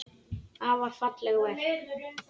Afar falleg verk.